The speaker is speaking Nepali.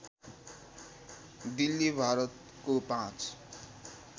दिल्ली भारतको पाँच